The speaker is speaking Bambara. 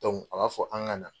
a b'a fɔ an ka na.